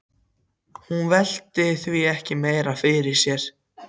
Hún velti því ekki meira fyrir sér.